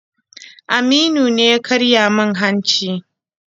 Aminu ne ya karya min hanci.